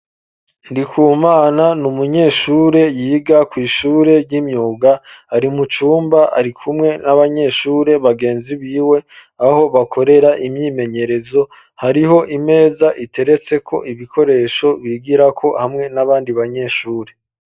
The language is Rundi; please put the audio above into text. Ndikumana n'umunyeshure yiga kw'ishure ry'imyuga ari mucumba ari kumwe n'abanyeshure bagenzi biwe aho bakorera imyimenyerezo hariho imeza iteretseko ibikoresho bigirako hamwe n'abandi banyeshure.